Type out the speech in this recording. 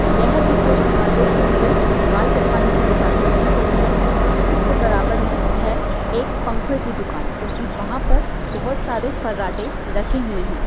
यह भी कोई मर्दों के लिए बाल कटवाने की दुकान प्रतीत होती है और इसी के बराबर में है एक पंखे की दुकान क्योंकि वहां पर बहुत सारे फर्राटे रखे हुए है।